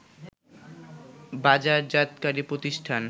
বাজারজাতকারী প্রতিষ্ঠান